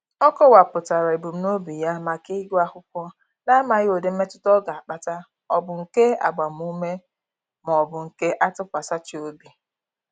Ọ kọwapụtara ebumnobi ya maka ịgụ akwụkwọ na-amaghị ụdị mmetụta ọ ga-akpata ọ bụ nke agbamume maọbụ nke atụkwasachị obi.